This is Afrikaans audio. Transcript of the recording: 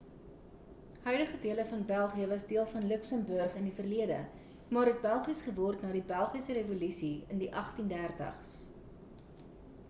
huidige dele van belgië was deel van luxembourg in die verlede maar het belgies geword na die belgiese revolusie in die 1830s